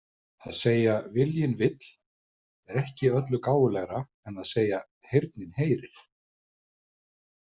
Að segja „viljinn vill“ er ekki öllu gáfulegra en að segja „heyrnin heyrir“.